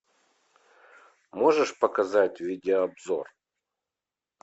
можешь показать видеообзор